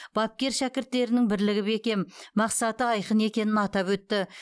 бапкер шәкірттерінің бірлігі бекем мақсаты айқын екенін атап өтті